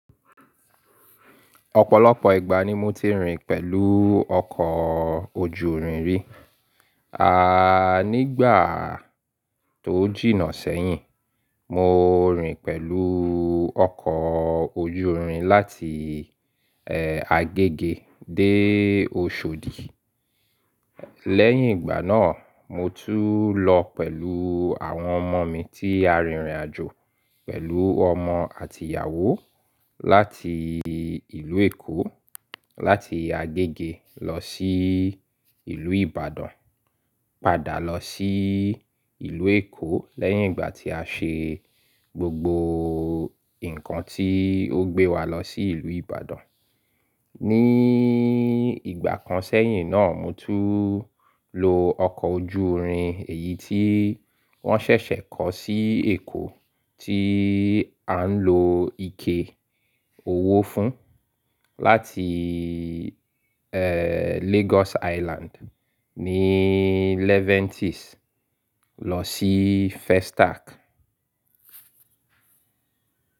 Ọ̀pọ̀lọpọ̀ ìgbà ni mo ti rìn pẹ̀lú ọkọ̀ ojú irin rí. Nígbà tó jìnnà sẹ́yìn, mo rìn pẹ̀lú ọkọ̀ ojú irin láti, Agege dé Oshodi. Lẹ́yìn ìgbà náà, mo tún lọ pẹ̀lú àwọn ọmọ mi tí a rìnrìnàjò pẹ̀lú ọmọ àti ìyàwó láti ìlú Èkó, láti Agege lọ sí ìlú Ìbàdàn, padà lọ sí ìlú Èkó lẹ́yìn ìgbà tí a ṣe gbogbo nǹkan tí ó gbé wa lọ sí ìlú Ìbàdàn. Ní ìgbà kan sẹ́yìn náà, mo tún lo ọkọ̀ ojú irin èyí tí wọ́n ṣẹ̀ṣẹ̀ kọ́ sí Èkó tí à ń lo ike owó fún láti, Lagos Island ní Levantis lọ sí Festac.